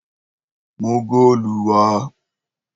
mú góòlù wá!